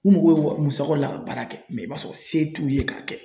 U mago bɛ musakaw la ka baara kɛ i b'a sɔrɔ se t'u ye k'a kɛ.